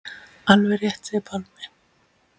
Alveg rétt segir Pálmi.